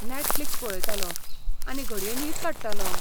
Netflix पळयतलों आनी घडये न्हिद काडटलों .